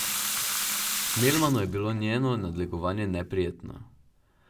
Melmanu je bilo njeno nadlegovanje neprijetno.